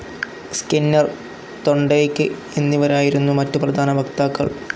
Skinner, തൊണ്ടേയ്ക്കു എന്നിവരായിരുന്നു മറ്റു പ്രധാന വക്താക്കൾ.